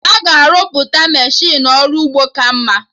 Aga arụpụta Meshịnụ ọrụ ugbo ka mma